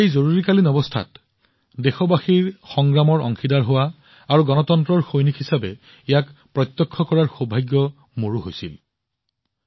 জৰুৰীকালীন অৱস্থাত দেশবাসীৰ সংগ্ৰামৰ সাক্ষী হোৱা অংশীদাৰ হোৱাৰ সংগ্ৰাম মইও বিশেষাধিকাৰ লাভ কৰিছিলো গণতন্ত্ৰৰ এজন সৈনিক হিচাপে